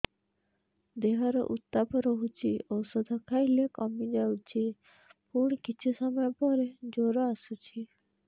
ଦେହର ଉତ୍ତାପ ରହୁଛି ଔଷଧ ଖାଇଲେ କମିଯାଉଛି ପୁଣି କିଛି ସମୟ ପରେ ଜ୍ୱର ଆସୁଛି